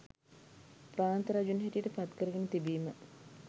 ප්‍රාන්ත රජුන් හැටියට පත් කරගෙන තිබීම